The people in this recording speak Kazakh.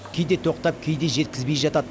кейде тоқтап кейде жеткізбей жатады